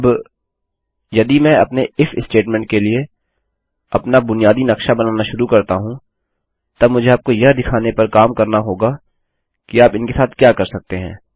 अब यदि मैं अपने इफ स्टेटमेंट स्टेट्मेन्ट के लिए अपना बुनियादी नक्शा बनाना शुरू करता हूँ तब मुझे आपको यह दिखाने पर काम करना होगा कि आप इनके साथ क्या कर सकते हैं